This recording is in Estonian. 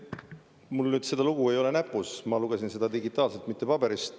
Mul seda lugu näpus ei ole, ma lugesin seda digitaalselt, mitte paberilt.